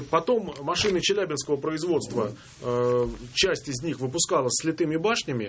потом машина челябинского производства часть из них выпускалась с литыми башнями